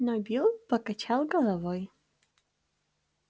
но билл покачал головой